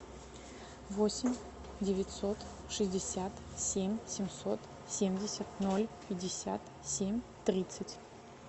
восемь девятьсот шестьдесят семь семьсот семьдесят ноль пятьдесят семь тридцать